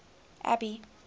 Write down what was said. abby